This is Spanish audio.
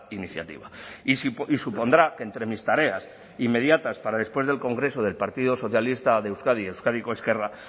iniciativa y supondrá que entre mis tareas inmediatas para después del congreso del partido socialista de euskadi euskadiko ezkerra